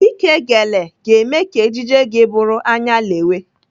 Ike gele ga-eme ka ejiji gị bụrụ anyalewe